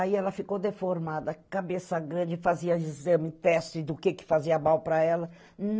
Aí ela ficou deformada, cabeça grande, fazia exame, teste do que fazia mal para ela.